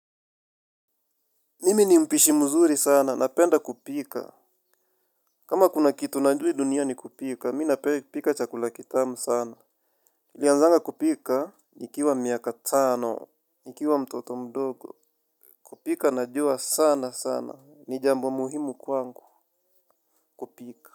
Mimi ni mpishi mzuri sana, napenda kupika. Kama kuna kitu najua hii dunia ni kupika, mi nape kipika chakula kitamu sana. Nilianzanga kupika, nikiwa miaka tano. Nikiwa mtoto mdogo. Kupika najua sana sana, ni jambo muhimu kwangu kupika.